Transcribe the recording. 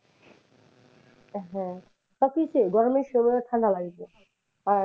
হ্যাঁ, তা ঠিকই গরমের সময় ঠান্ডা লাগবে আর,